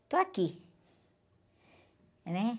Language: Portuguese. Estou aqui, né?